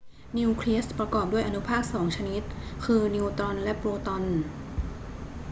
นิวเคลียสประกอบด้วยอนุภาคสองชนิด คือ นิวตรอนและโปรตอน